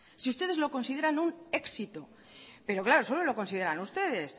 si ustedes lo consideran un éxito pero claro solo lo consideran ustedes